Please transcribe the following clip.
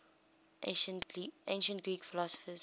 ancient greek philosophers